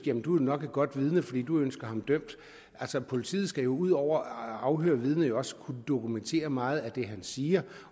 jamen du er nok et godt vidne for du ønsker ham dømt altså politiet skal ud over at afhøre vidnet også kunne dokumentere meget af det han siger